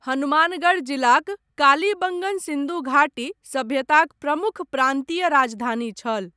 हनुमानगढ़ जिलाक कालीबंगन सिन्धु घाटी सभ्यताक प्रमुख प्रान्तीय राजधानी छल।